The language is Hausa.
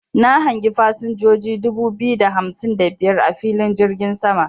Na hangi fasinjoji dubu biyu da hamsin da biyar a filin jirgin sama.